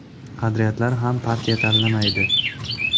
Qadriyatlar ham partiya tanlamaydi.